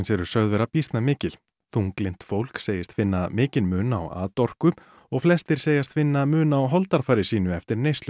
eru sögð vera býsna mikil þunglynt fólk segist finna mikinn mun á atorku og flestir segjast finna mun á holdafari sínu eftir neyslu